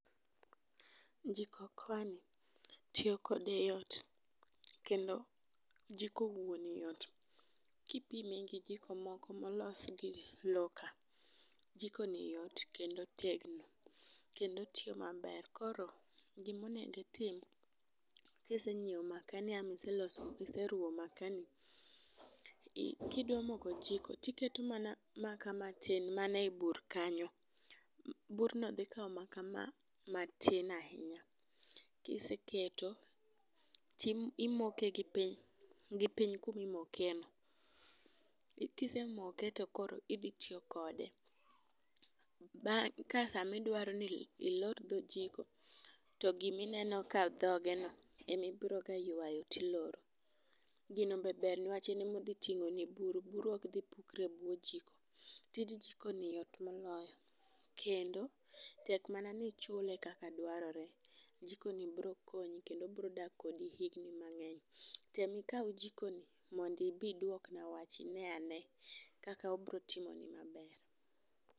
Jiko okoa ni, tiyo kode yot kendo jiko wuon yot kipime gi jiko moko molos gi lowo ka. Jiko ni yot kendo otegno kendo otiyo maber. Koro gimonego itim kisenyiewo maka ama iseloso ama iseruwo makaa ni ii kidwa moko jiko tuketo mana makaa matin mana e bur kanyo. Bur no dhi kawo makaa matin ahinya. Kiseketo , timoke gipiny gipiny kuma imoke no kisemoke to koro idhi tiyo kode ba ka sama idwaro ni ilor dho jiko to gimineno ka dhoge no emibiro ga ywayo tiloro gino be ber nikeche ne emodhi ting'o ni buru buru oik dhi oukore e bwo jiko . Tij jiko ni ber moloyo kendo tek mana ni ichule kaka dwarore. Jiko ni bro konyi kendi bro dak kodi higni mangeny. Tem kaw jiko ni mondo ibi iduok na wach ine ane kaka obo timoni maber.